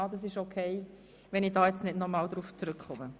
Ich nehme aber an, es sei in Ordnung, jetzt nicht darauf zurückzukommen.